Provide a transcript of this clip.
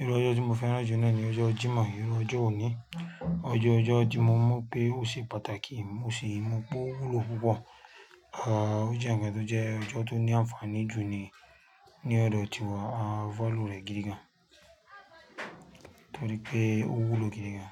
Irú ọjọ́ tí mo fẹ́ràn jù náà ni ọjọ́ Jímọ̀. Irú ọjọ́ òní. Ọjọ́ ọjọ́ tí mo mọ̀ pé ó ṣe pàtàkì, ó ṣe ìmu bó wúlò púpọ̀. À ó jẹ́ ǹkan tó jẹ́ ọjọ́ tó ní àǹfààní jù ni ní ọ̀dọ̀ tiwa. A value rẹ̀ gidi gan. Torí pé ó wúlò gidi gan.